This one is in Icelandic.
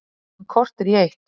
Klukkan korter í eitt